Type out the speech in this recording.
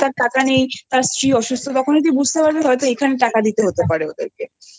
তার টাকা নেই তার স্ত্রী অসুস্থ তখনই তুই বুঝতে পারবি হয়তো এখানে টাকা দিতে হতে পারে ওদের কেহু